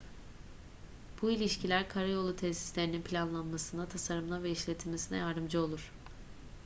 bu ilişkiler karayolu tesislerinin planlanmasına tasarımına ve işletilmesine yardımcı olur